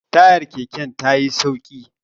tayar keken ta yi sauki